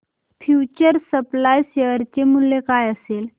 future supply share चे मूल्य काय असेल